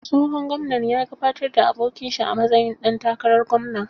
Tsohon gwamnan ya gabatar da abokin shi a matsayin ɗan takarar gwamna.